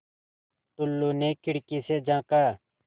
टुल्लु ने खिड़की से झाँका